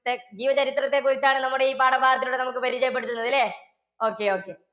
ത്തെ~ജീവചരിത്രത്തെ കുറിച്ചാണ് നമ്മുടെ ഈ പാഠഭാഗത്തില്ലൂടെ നമുക്ക് പരിചയപ്പെടുത്തുന്നത് ല്ലേ? okay okay.